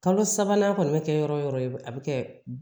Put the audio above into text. Kalo sabanan kɔni bɛ kɛ yɔrɔ o yɔrɔ a bɛ kɛ